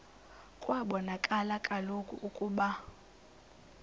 kwabonakala kaloku ukuba